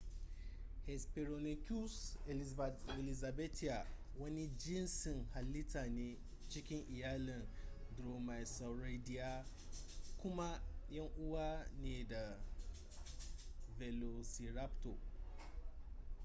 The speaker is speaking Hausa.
hesperonychus elizabethae wani jinsin halitta ne cikin iyalin dromaeosauridae kuma yan uwa ne ga velociraptor